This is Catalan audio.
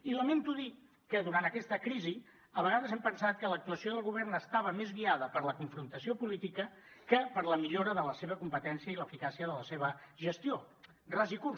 i lamento dir que durant aquesta crisi a vegades hem pensat que l’actuació del govern estava més guiada per la confrontació política que per la millora de la seva competència i l’eficàcia de la seva gestió ras i curt